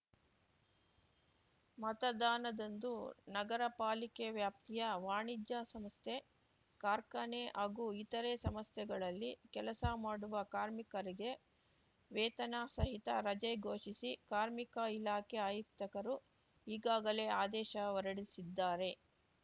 ಮತದಾನದಂದು ನಗರಪಾಲಿಕೆ ವ್ಯಾಪ್ತಿಯ ವಾಣಿಜ್ಯ ಸಂಸ್ಥೆ ಕಾರ್ಖಾನೆ ಹಾಗೂ ಇತರೆ ಸಂಸ್ಥೆಗಳಲ್ಲಿ ಕೆಲಸ ಮಾಡುವ ಕಾರ್ಮಿಕರಿಗೆ ವೇತನ ಸಹಿತ ರಜೆ ಘೋಷಿಸಿ ಕಾರ್ಮಿಕ ಇಲಾಖೆ ಆಯುಕ್ತಕರು ಈಗಾಗಲೇ ಆದೇಶ ಹೊರಡಿಸಿದ್ದಾರೆ